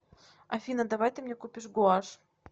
афина давай ты мне купишь гуашь